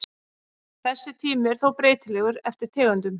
Þessi tími er þó breytilegur eftir tegundum.